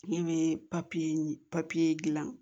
E be gilan